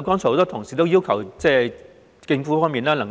很多同事剛才要求政府